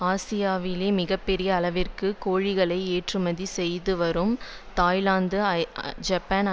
ஆசியாவிலேயே மிக பெரும் அளவிற்கு கோழிகளை ஏற்றுமதி செய்துவரும் தாய்லாந்து ஜப்பான்